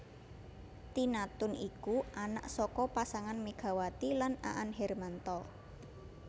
Tina Toon iku anak saka pasangan Megawati lan Aan Hermanto